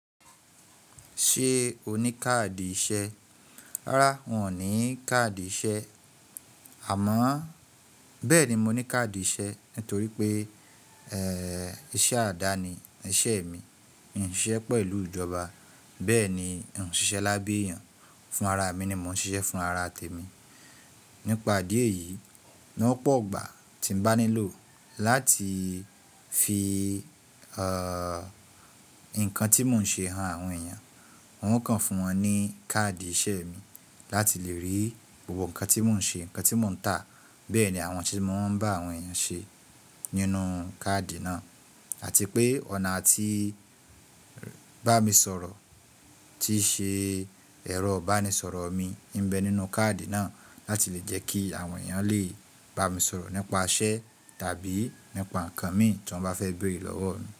Ṣé o ní káàdì iṣẹ́? Rárá n ò ní káàdì iṣẹ́. Àmọ́ bẹ́ẹ̀ ni mo ní káàdì iṣẹ́ nítorí pé iṣẹ́ àdáni ẹṣẹ́ mi. N ò ń ṣiṣẹ́ pẹ̀lú ìjọba, bẹ́ẹ̀ ni n ò ń ṣiṣẹ́ lábẹ́ èèyàn fún ara mi ni mò ń ṣiṣẹ́, fún ara tèmi. Nípa díẹ̀ yìí ní ọ̀pọ̀ ìgbà tí mo bá nílò láti fi nǹkan tí mò ń ṣe han àwọn èèyàn, wọn yóò kàn fún wọn ní káàdì iṣẹ́ mi láti lè rí gbogbo nǹkan tí mò ń ṣe, nǹkan tí mò ń tà, bẹ́ẹ̀ ni àwọn ohun tí mo máa ń bá àwọn èèyàn ṣe nínú káàdì náà àti pé ọ̀nà atí bá mi sọ̀rọ̀ tí ṣe ẹ̀rọ bá mi sọ̀rọ̀ mi ń bẹ nínú káàdì náà láti lè jẹ́ kí àwọn èèyàn lè bá mi sọ̀rọ̀ nípa iṣẹ́ tàbí nípa nǹkan mi tí wọ́n bá fẹ́ bèrè lọ́wọ́ mi.